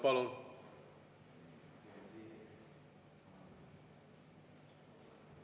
Palun!